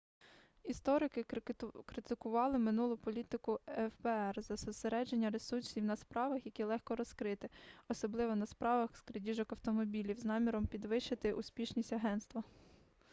історики критикували минулу політику фбр за зосередження ресурсів на справах які легко розкрити особливо на справах з крадіжок автомобілів з наміром підвищити успішність агентства